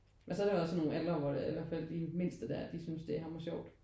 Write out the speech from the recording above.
Men så er det jo også nogle aldre eller i hvert fald de mindste der det synes det er hammersjovt